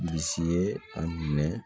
Bisi ye a minɛ